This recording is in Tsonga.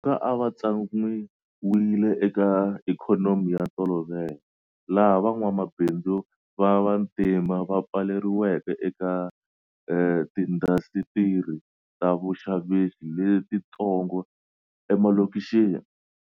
Dzonga a va tsan'wiwile eka ikhonomi ya ntolovelo, laha van'wamabindzu va vantima va pfaleriweke eka tiindasitiri ta vuxavisi letitsongo emalokixini.